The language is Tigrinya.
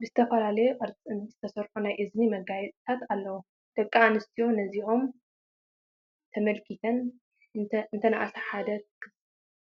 ብዝተፈላለየ ቅርፂ ዝተሰርሑ ናይ እዝኒ መጋየፅታት ኣለዉ፡፡ ደቂ ኣንስትዮ ነዚኦም ተመልኪተን እንተንኣሰ ሓደ